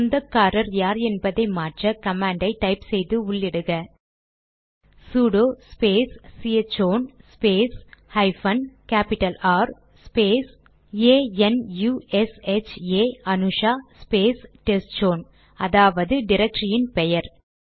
சொந்தக்காரர் யார் என்பதை மாற்ற கமாண்டை டைப் செய்து உள்ளிடுக sudo space chown space hyphen capital R space A N U S H A Anusha space test zone அதாவது டிரக்டரியின் பெயர்